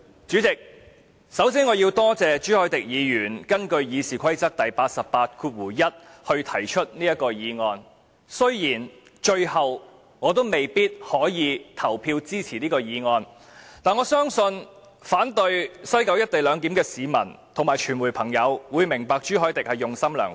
主席，我首先要感謝朱凱廸議員根據《議事規則》第881條動議議案，雖然我最後未必可以投票支持，但我相信反對在西九龍站實施"一地兩檢"的市民及傳媒朋友會明白朱凱廸議員用心良苦。